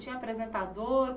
Tinha apresentador?